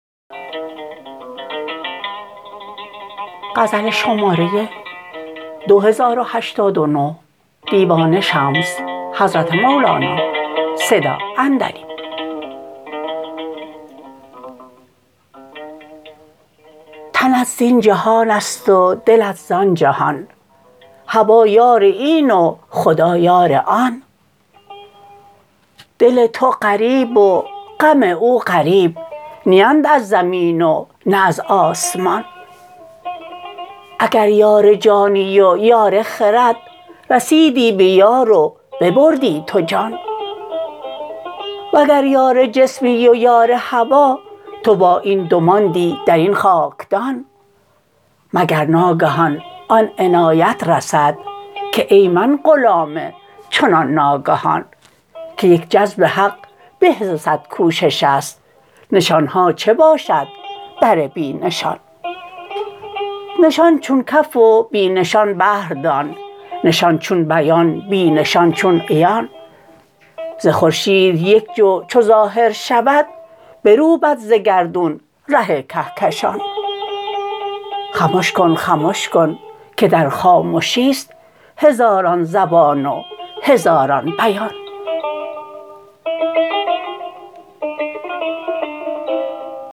تنت زین جهان است و دل زان جهان هوا یار این و خدا یار آن دل تو غریب و غم او غریب نیند از زمین و نه از آسمان اگر یار جانی و یار خرد رسیدی بیار و ببردی تو جان وگر یار جسمی و یار هوا تو با این دو ماندی در این خاکدان مگر ناگهان آن عنایت رسد که ای من غلام چنان ناگهان که یک جذب حق به ز صد کوشش است نشان ها چه باشد بر بی نشان نشان چون کف و بی نشان بحر دان نشان چون بیان بی نشان چون عیان ز خورشید یک جو چو ظاهر شود بروبد ز گردون ره کهکشان خمش کن خمش کن که در خامشی است هزاران زبان و هزاران بیان